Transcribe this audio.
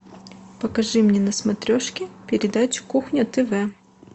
покажи мне на смотрешке передачу кухня тв